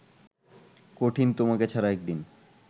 কঠিন তোমাকে ছাড়া একদিন